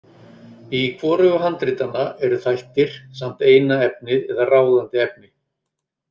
Í hvorugu handritanna eru þættir samt eina efnið eða ráðandi efni.